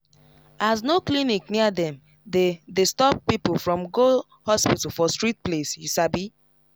as no clinic near dem dey dey stop people from go hospital for strict place you sabi